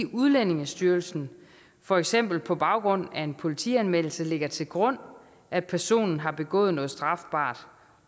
udlændingestyrelsen for eksempel på baggrund af en politianmeldelse lægger til grund at personen har begået noget strafbart